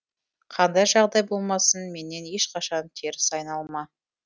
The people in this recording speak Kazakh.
қандай жағдай болмасын менен ешқашан теріс айналма